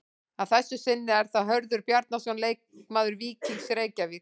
Að þessu sinni er það Hörður Bjarnason leikmaður Víkings Reykjavík.